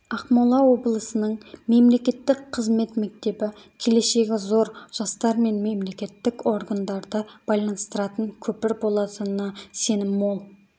ақмола облысының мемлекеттік қызмет мектебі келешегі зор жастар мен мемлекетік органдарды байланыстыратын көпір болатынына сенім мол